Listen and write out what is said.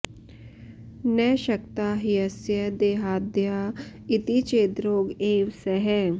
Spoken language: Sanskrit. न शक्ता ह्यस्य देहाद्या इति चेद्रोग एव सः